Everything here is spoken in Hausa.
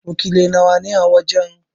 Wakiliai nawa ne a wajen?